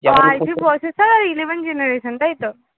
I three processor আর eleven generation তাই তো?